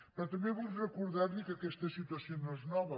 però també vull recordar li que aquesta situació no és nova